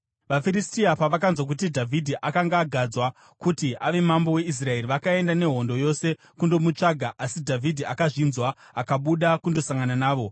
VaFiristia pavakanzwa kuti Dhavhidhi akanga agadzwa kuti ave mambo weIsraeri, vakaenda nehondo yose kundomutsvaka, asi Dhavhidhi akazvinzwa akabuda kundosangana navo.